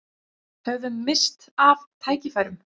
Höfum misst af tækifærum